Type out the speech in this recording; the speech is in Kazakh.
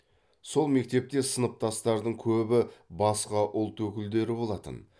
сол мектепте сыныптастардың көбі басқа ұлт өкілдері болатын